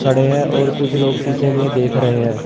खड़े हैं और कुछ लोग शीशे में देख रहे हैं।